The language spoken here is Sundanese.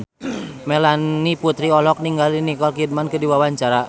Melanie Putri olohok ningali Nicole Kidman keur diwawancara